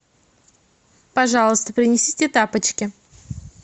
пожалуйста принесите тапочки